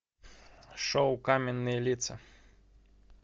шоу каменные лица